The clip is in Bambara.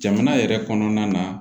Jamana yɛrɛ kɔnɔna na